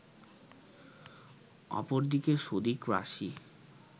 অপরদিকে সদিক রাশি